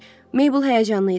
Mabel həyəcanlı idi.